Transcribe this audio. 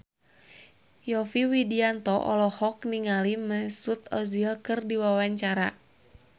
Yovie Widianto olohok ningali Mesut Ozil keur diwawancara